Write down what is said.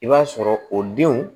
I b'a sɔrɔ o denw